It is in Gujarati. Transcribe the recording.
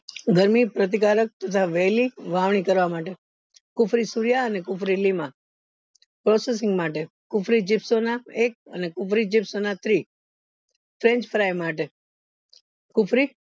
ગરમી પ્રતિકારક તથા વેલી વાવની કરવા માટે કુફરી સૂર્ય અને કુફરી લીમા processing માટે કુફરી એક અને કુફરી થ્રી માટે કુફરી